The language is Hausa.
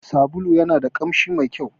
Sabulun yanada kamshi mai ƙyau.